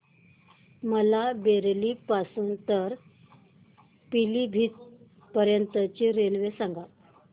मला बरेली पासून तर पीलीभीत पर्यंत ची रेल्वे सांगा